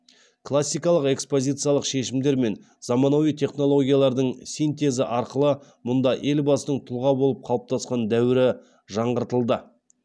классикалық экспозициялық шешімдер мен заманауи технологиялардың синтезі арқылы мұнда елбасының тұлға болып қалыптасқан дәуірі жаңғыртылды